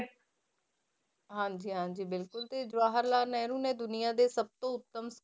ਹਾਂਜੀ ਹਾਂਜੀ ਬਿਲਕੁਲ ਤੇ ਜਵਾਹਰ ਲਾਲ ਨਹਿਰੂ ਨੇ ਦੁਨੀਆਂ ਦੇ ਸਭ ਤੋਂ ਉੱਤਮ